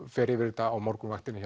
fer yfir þetta á morgunvaktinni